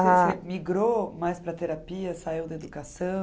migrou mais para a terapia, saiu da educação?